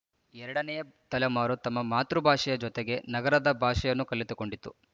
ಎರಡನೆಯ ತಲೆಮಾರು ತಮ್ಮ ಮಾತೃಭಾಷೆಯ ಜೊತೆಗೆ ನಗರದ ಭಾಷೆಯನ್ನು ಕಲಿತುಕೊಂಡಿತು